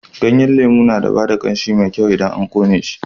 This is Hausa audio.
Ganyen lemu na ba da ƙanshi mai kyau idan ana ƙone shi.